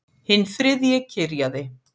Hinn þriðji kyrjaði